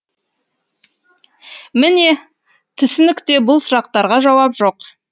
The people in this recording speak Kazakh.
міне түсінікте бұл сұрақтарға жауап жоқ